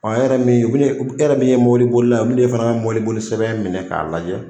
e yɛrɛ min e yɛrɛ min ye mɔbiliboli la o bɛna e fana ka mɔbiliboli sɛbɛn minɛ k'a lajɛ.